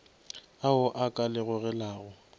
ao a ka le gogelago